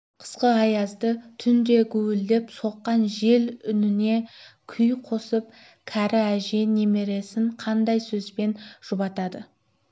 қысқы аязды түнде гуілдеп соққан жел үніне күй қосып кәрі әже немересін қандай сөзбен жұбатады